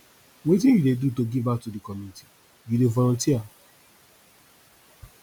wetin you dey do to give back to di community you dey volunteer